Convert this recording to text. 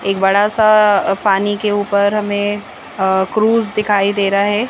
बड़ा सा पानी के ऊपर हमें क्रूज दिखाई दे रहा है।